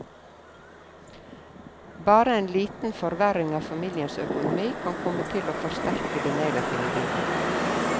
Bare en liten forverring av familiens økonomi kan komme til å forsterke det negative bildet.